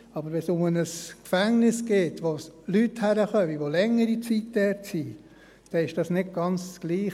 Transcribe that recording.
Aber wenn es um ein Gefängnis geht, wo Leute hinkommen, die längere Zeit dort sind, ist es nicht ganz dasselbe.